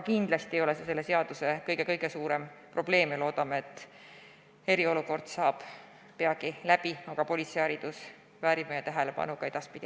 Kindlasti ei ole see selle seaduse kõige suurem probleem ja loodame, et eriolukord saab peagi läbi, aga politseiharidus väärib meie tähelepanu ka edaspidi.